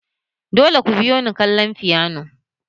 Dole ku biyo ni kallon Fiyona!